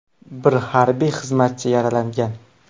Bir harbiy xizmatchi yaralangan.